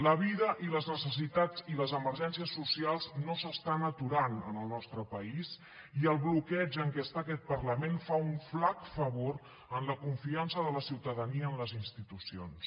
la vida i les necessitats i les emergències socials no s’estan aturant en el nostre país i el bloqueig en què està aquest parlament fa un flac favor a la confiança de la ciutadania en les institucions